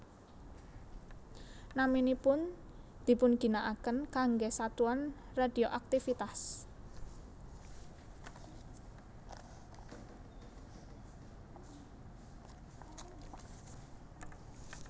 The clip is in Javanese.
Naminipun dipunginaaken kanggé satuan radioaktivitas